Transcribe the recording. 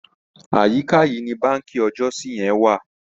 Àyíká yìí ni báǹkì ọjọ́si yẹn wà.